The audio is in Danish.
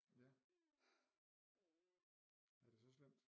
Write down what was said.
Ja er det så slemt